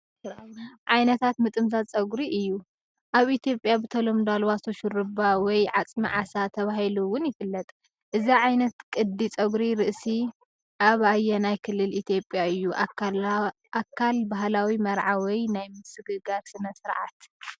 ዓይነታት ምጥምዛዝ ጸጉሪ ዘርኢ እዩ። ኣብ ኢትዮጵያ ብተለምዶ "ኣልባሶ ሹሩባ" ወይ "ዓጽሚ ዓሳ" ተባሂሉ'ውን ይፍለጥ። እዚ ዓይነት ቅዲ ጸጉሪ ርእሲ ኣብ ኣየናይ ክልል ኢትዮጵያ እዩ ኣካል ባህላዊ መርዓ ወይ ናይ ምስግጋር ስነ-ስርዓት?